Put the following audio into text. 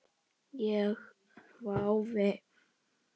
Ég hvái.